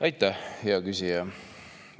Aitäh, hea küsija!